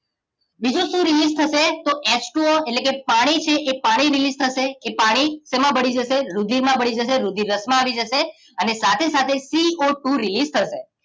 બીજું શું રિલીજ થશે તો H ટુ O એટલેકે પાણી છે એ પાણી રિલિજ થશે એ પાણી સેમા ભળી જશે રુધિરમાં ભળી જશે રુધિર રસ માં આવી જશે અને સાથે સાથે CO ટુ રિલિજ થશે